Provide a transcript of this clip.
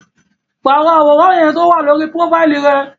Paro aworan yẹn towa lori profaili rẹ!